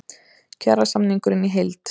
Kjarasamningurinn í heild